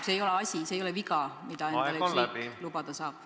See ei ole viga, mida endale üks riik lubada saab.